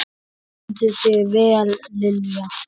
Þú stendur þig vel, Lilja!